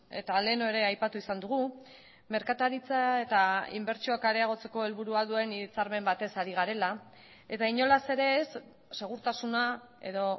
eta lehen ere aipatu izan dugu merkataritza eta inbertsioak areagotzeko helburua duen hitzarmen batez ari garela eta inolaz ere ez segurtasuna edo